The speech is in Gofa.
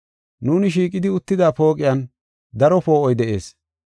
Nuuni shiiqidi uttida pooqiyan daro poo7oy de7ees.